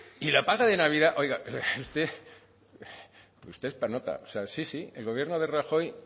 y la paga de navidad oiga usted es para nota sí sí el gobierno de rajoy